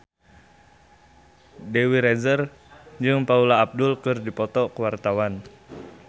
Dewi Rezer jeung Paula Abdul keur dipoto ku wartawan